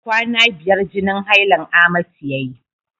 Kwana biyar jinin hailan amatu yayi.